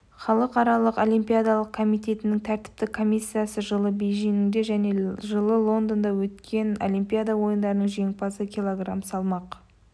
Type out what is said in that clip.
халықаралық олимпиадалық комитетінің тәртіптік комиссиясы жылы бейжіңде және жылы лондонда өткен олимпиада ойындарының жеңімпазы кг салмақ